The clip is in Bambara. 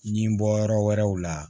Ɲi bɔ yɔrɔ wɛrɛw la